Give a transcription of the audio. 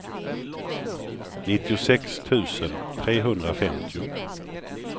nittiosex tusen trehundrafemtio